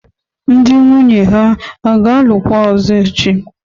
Ndị nwunye ha ga-alụkwa ọzọ echi?